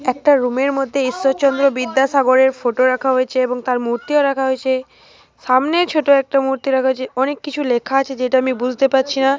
একটা রুমের মধ্যে ঈশ্বরচন্দ্র বিদ্যাসাগরের ফটো রাখা হয়েছে এবং তার মূর্তিও রাখা হয়েছে। সামনে ছোট একটা মূর্তির কাছে। অনেক কিছু লেখা আছে যেটা আমি বুঝতে পারছি না।